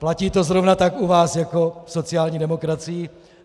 Platí to zrovna tak u vás jako v sociální demokracii.